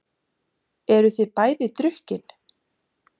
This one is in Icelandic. Eruð þið bæði drukkin?